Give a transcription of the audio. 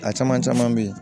A caman caman bɛ ye